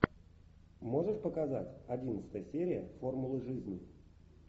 можешь показать одиннадцатая серия формулы жизни